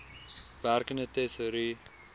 werkende tesourie